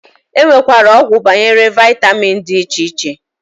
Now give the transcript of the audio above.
Enwekwere ogwu banyere vitamin di iche iche.